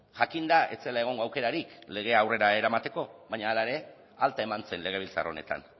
jakinda ez zela egongo aukerarik legea aurrera eramateko baina hala ere alta eman zen legebiltzar honetan